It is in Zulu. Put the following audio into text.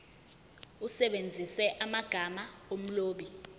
usebenzise amagama omlobi